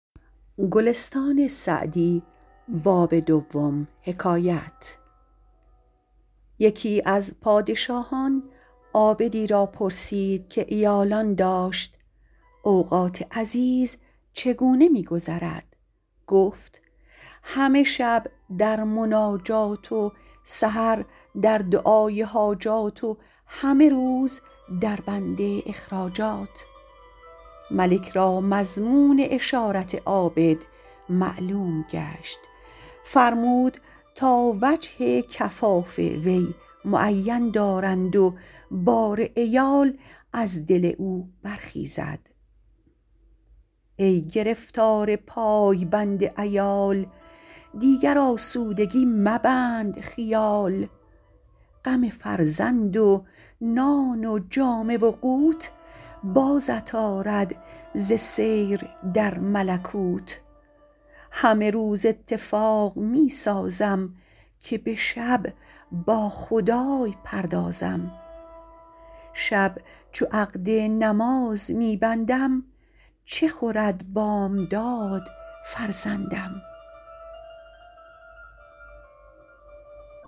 یکی از پادشاهان عابدی را پرسید که عیالان داشت اوقات عزیز چگونه می گذرد گفت همه شب در مناجات و سحر در دعای حاجات و همه روز در بند اخراجات ملک را مضمون اشارت عابد معلوم گشت فرمود تا وجه کفاف وی معین دارند و بار عیال از دل او برخیزد ای گرفتار پای بند عیال دیگر آسودگی مبند خیال غم فرزند و نان و جامه و قوت بازت آرد ز سیر در ملکوت همه روز اتفاق می سازم که به شب با خدای پردازم شب چو عقد نماز می بندم چه خورد بامداد فرزندم